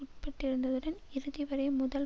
உட்பட்டிருந்துடன் இறுதிவரை முதல்